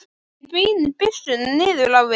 Ég beini byssunni niður á við.